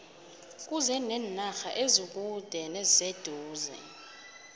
kuze nenarha ezikude neziseduze